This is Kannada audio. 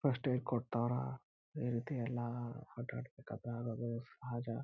ಫಸ್ಟ್ ಏಡ್ ಕೊಡ್ತವ್ರ ಈ ರೀತಿ ಎಲ್ಲ ಆಟ ಆಡ್ಬೇಕ್ ಆದ್ರೆ ಆಗದು ಸಹಜ.